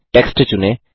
text चुनें